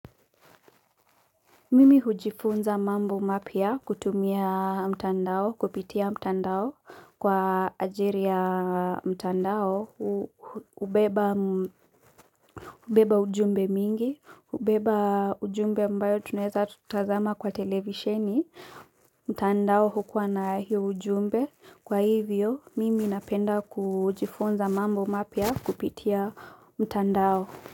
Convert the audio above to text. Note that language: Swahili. Mimi hujifunza mambo mapya kutumia mtandao, kupitia mtandao kwa ajiri ya mtandao, hubeba ujumbe mingi, hubeba ujumbe ambayo tunaeza tutazama kwa televisheni, mtandao hukuwa na hiyo ujumbe, kwa hivyo mimi napenda kujifunza mambo mapya kupitia mtandao.